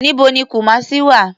Níbo ni Kumasi wà?